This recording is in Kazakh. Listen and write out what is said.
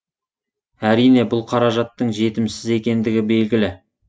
әрине бұл қаражаттың жетімсіз екендігі белгілі